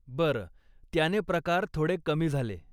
बरं, त्याने प्रकार थोडे कमी झाले.